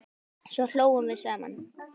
Svo hlógum við saman.